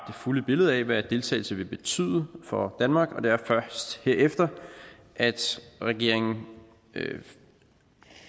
fulde billede af hvad deltagelse vil betyde for danmark og det er først herefter at regeringen